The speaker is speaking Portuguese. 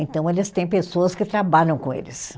Então, eles têm pessoas que trabalham com eles.